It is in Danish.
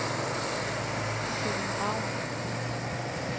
Kevin Raun